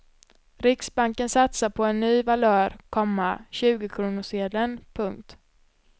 Riksbanken satsar på en ny valör, komma tjugokronorssedeln. punkt